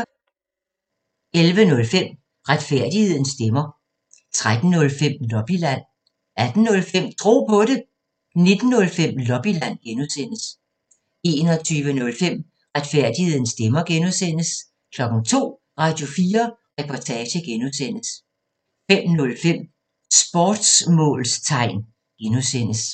11:05: Retfærdighedens stemmer 13:05: Lobbyland 18:05: Tro på det 19:05: Lobbyland (G) 21:05: Retfærdighedens stemmer (G) 02:00: Radio4 Reportage (G) 05:05: Sportsmålstegn (G)